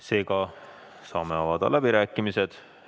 Seega saame avada läbirääkimised.